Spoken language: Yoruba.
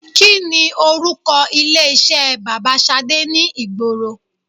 Kini orúkọ ilé iṣẹ́ bàbà Ṣadé ni ìgboro